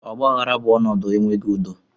Ọgbaghara bụ ọnọdụ enweghị udo